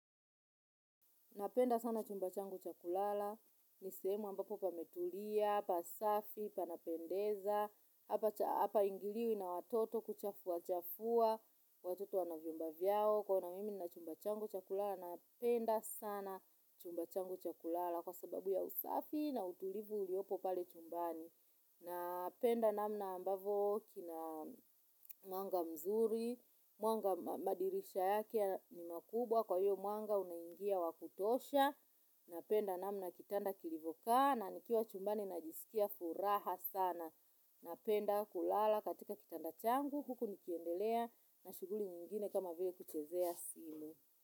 Napenda sana chumba changu cha kulala, nisehemu ambapo pametulia, pasafi, panapendeza, hapa ingiliwi na watoto kuchafuachafua, watoto wanavyumba vyao. Kwangu nina chumba changu cha kulala napenda sana chumba changu cha kulala kwa sababu ya usafi na utulivu uliopo pale chumbani. Napenda namna ambavyo kina mwanga mzuri, madirisha yake ni makubwa. Kwa hiyo, mwanga unaingia wa kutosha. Napenda namna kitanda kilivyokaa, na nikiwa chumbani najisikia furaha sana. Napenda kulala katika kitanda changu huku nikiendelea na shughuli nyingine, kama vile kuchezea simu.